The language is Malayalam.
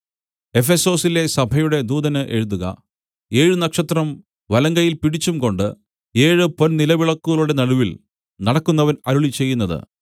എഫെസൊസിലെ സഭയുടെ ദൂതന് എഴുതുക ഏഴ് നക്ഷത്രം വലങ്കയ്യിൽ പിടിച്ചുംകൊണ്ട് ഏഴ് പൊൻനിലവിളക്കുകളുടെ നടുവിൽ നടക്കുന്നവൻ അരുളിച്ചെയ്യുന്നത്